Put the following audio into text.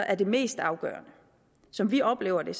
er det mest afgørende som vi oplever det